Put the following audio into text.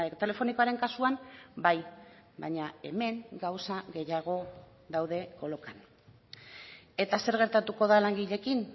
telefonikoaren kasuan bai baina hemen gauza gehiago daude kolokan eta zer gertatuko da langileekin